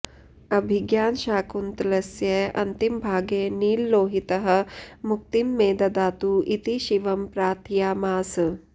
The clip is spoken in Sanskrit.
अभिज्ञानशाकुन्तलस्य अन्तिमभागे नीललोहितः मुक्तिं मे ददातु इति शिवं प्रार्थयामास